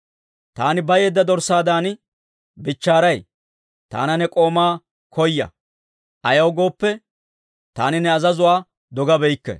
Taani bayeedda dorssaadan bichchaaray; taana ne k'oomaa koya; ayaw gooppe, taani ne azazuwaa dogabeykke.